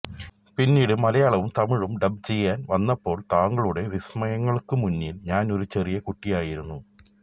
പിന്നിട് മലയാളവും തമിഴും ഡബ് ചെയാൻ വന്നപ്പോൾ താങ്കളുടെ വിസമയങ്ങൾക്കുമുന്നിൽ ഞാൻ ഒരു ചെറിയ കുട്ടിയായിരുന്നു